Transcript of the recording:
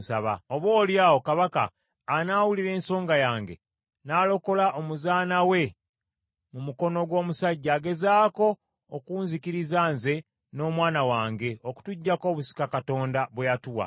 Oboolyawo kabaka anaawulira ensonga yange, n’alokola omuzaana we mu mukono gw’omusajja agezaako okunzikiriza nze n’omwana wange okutuggyako obusika Katonda bwe yatuwa.’